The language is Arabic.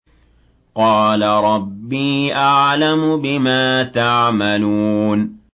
قَالَ رَبِّي أَعْلَمُ بِمَا تَعْمَلُونَ